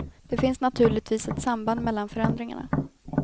Det finns naturligtvis ett samband mellan förändringarna.